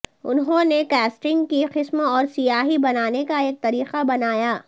انہوں نے کاسٹنگ کی قسم اور سیاہی بنانے کا ایک طریقہ بنایا